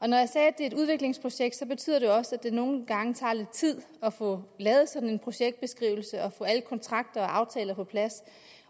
jeg sagde at det er et udviklingsprojekt og det betyder også at det nogle gange tager lidt tid at få lavet sådan en projektbeskrivelse og få alle kontrakter og aftaler på plads